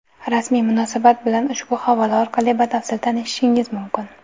Rasmiy munosabat bilan ushbu havola orqali batafsil tanishishingiz mumkin.